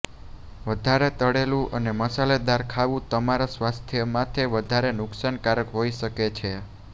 વધારે તળેલું અને મસાલેદાર ખાવું તમારા સ્વાસ્થ્ય માટે વધારે નુકસાનકારક હોય શકે છે